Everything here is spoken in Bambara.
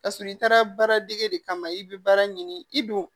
Kasɔrɔ i taara baaradege de kama i bi baara ɲini i don